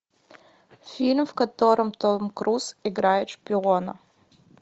фильм в котором том круз играет шпиона